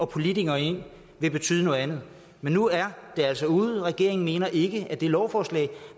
politikere ind vil betyde noget andet men nu er det altså ude regeringen mener ikke at det lovforslag